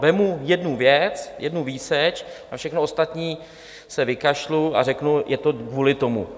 Vezmu jednu věc, jednu výseč, na všechno ostatní se vykašlu a řeknu, je to kvůli tomu.